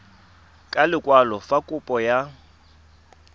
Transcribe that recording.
ka lekwalo fa kopo ya